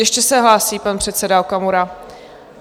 Ještě se hlásí pan předseda Okamura.